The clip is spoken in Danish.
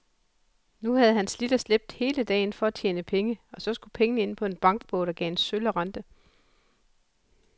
Nu havde han slidt og slæbt hele dagen for at tjene penge, og så skulle pengene ind på en bankbog, der gav en sølle rente.